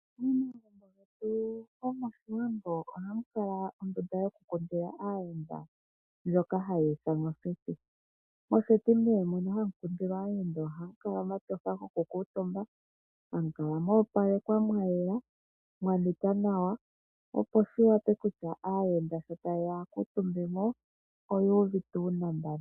Momagumbo getu gomoshiwambo ohamu kala ondunda yoku kundila aayenda, ndjoka hayi ithanwa oseti. Oseti nee mono hamu kundila aayenda ohamu kala muna omatyofa goku kuutumba. Hamu kala moopalekwa mayela mwa nika nawa opo shi wape kutya aayenda sho tayeya yakuutumbemo oyu uvite unambano.